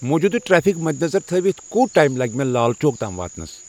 موجودٕ ٹریفِک مَدِ نظر تھٲوِتھ کوٗت ٹایم لگِہ مے لال چوک تام واتنس ؟